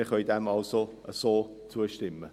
Wir können dem also so zustimmen.